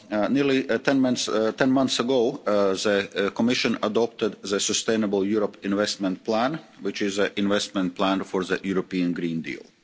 Nearly ten months ago, the Commission adopted the Sustainable Europe Investment Plan, which is an investment plan for the European Green Deal.